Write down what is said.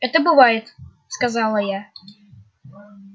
это бывает сказала я